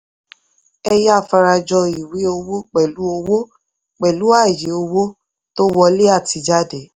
ẹ̀yà fara jọ ìwé owó pẹ̀lú owó pẹ̀lú ààyè owó tó wọlé àti jáde.